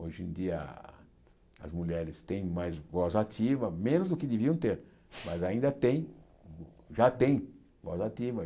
Hoje em dia as mulheres têm mais voz ativa, menos do que deviam ter, mas ainda tem, já tem voz ativa.